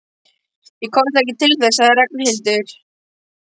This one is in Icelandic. Ég komst ekki til þess sagði Ragnhildur.